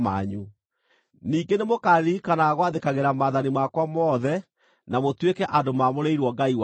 Ningĩ nĩmũkaririkanaga gwathĩkagĩra maathani makwa mothe na mũtuĩke andũ mamũrĩirwo Ngai wanyu.